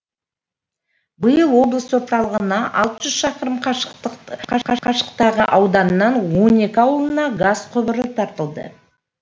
биыл облыс орталығынан алты жүз шақырым қашықтықтағы ауданның он екі ауылына газ құбыры тартылды